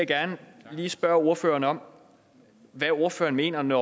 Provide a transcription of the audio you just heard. gerne lige spørge ordføreren om hvad ordføreren mener med